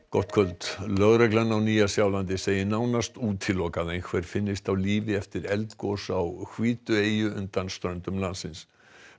gott kvöld lögreglan á Nýja Sjálandi segir nánast útilokað að einhver finnist á lífi eftir eldgos á undan ströndum landsins